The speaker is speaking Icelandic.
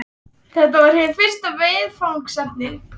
Þetta er hið fyrsta viðfangsefni vort.